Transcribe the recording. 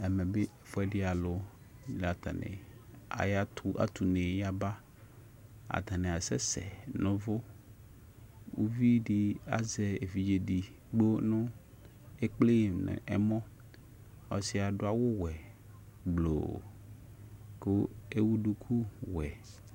Ɛfʊɛdɩ alʊ atʊ une yaba atanɩ asɛsɛ nʊ ʊvʊ uvidi azɛ ekple evidze edigbo nʊ ɛmɔ ɔsɩdɩ adʊ awʊ wɛ gblʊʊ kʊ ewuduku wɛ